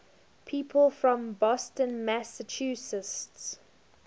people from boston massachusetts